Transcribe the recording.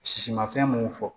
Sisi ma fɛn mun fɔ